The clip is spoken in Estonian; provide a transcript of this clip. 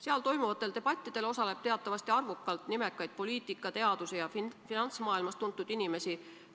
Seal toimuvatel debattidel osaleb teatavasti arvukalt nimekaid poliitika-, teadus- ja finantsmaailmas tuntud inimesi.